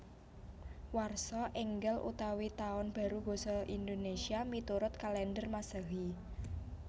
Warsa Ènggal utawi Tahun Baru basa Indonésia miturut kalèndher Masèhi